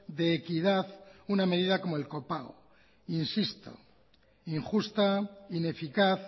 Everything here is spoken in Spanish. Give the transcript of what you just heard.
de equidad una medida como el copago insisto injusta ineficaz